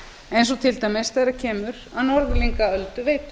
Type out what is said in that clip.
eins og til dæmis þegar kemur að norðlingaölduveitu